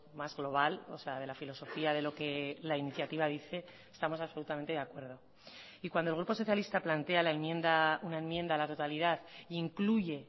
más global o sea de la filosofía de lo que la iniciativa dice estamos absolutamente de acuerdo y cuando el grupo socialista plantea la enmienda una enmienda a la totalidad incluye